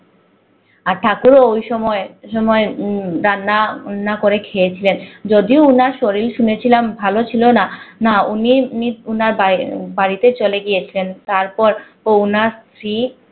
আর ঠাকুর ও ওই সময় না করে যদি উনার শরীর শুনেছিলাম ভালো ছিল না না উনি উনার বা বা বাড়িতে ও চলে গিয়েছিলেন তারপর ও উনার স্ত্রী